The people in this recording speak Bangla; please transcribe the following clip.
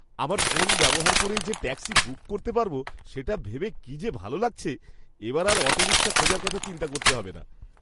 আমার ফোন ব্যবহার করেই যে ট্যাক্সি বুক করতে পারবো সেটা ভেবে কী যে ভালো লাগছে! এবার আর অটোরিক্শা খোঁজার কথা চিন্তা করতে হবে না।